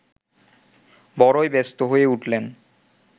বড়ই ব্যস্ত হয়ে উঠলেন